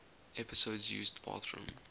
episodes used bathroom